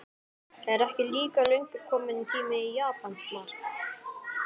Er ekki líka löngu kominn tími á japanskt mark?